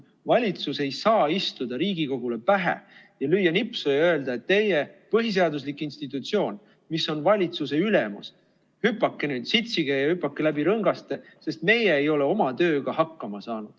Valitsus ei saa istuda Riigikogule pähe ja lüüa nipsu ja öelda, et teie, põhiseaduslik institutsioon, mis on valitsuse ülemus, hüpake nüüd, sitsige ja hüpake läbi rõngaste, sest meie ei ole oma tööga hakkama saanud.